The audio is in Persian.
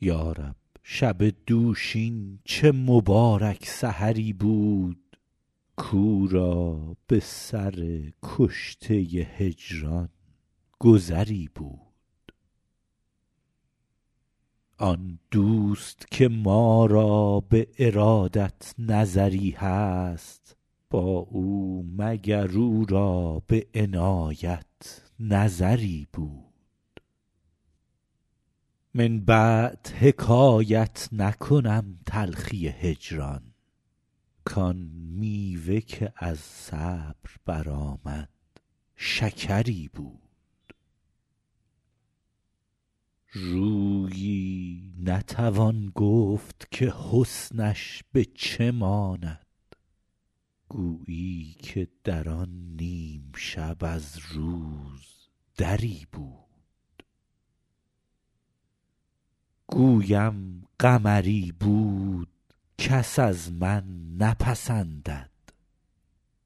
یا رب شب دوشین چه مبارک سحری بود کاو را به سر کشته هجران گذری بود آن دوست که ما را به ارادت نظری هست با او مگر او را به عنایت نظری بود من بعد حکایت نکنم تلخی هجران کآن میوه که از صبر برآمد شکری بود رویی نتوان گفت که حسنش به چه ماند گویی که در آن نیم شب از روز دری بود گویم قمری بود کس از من نپسندد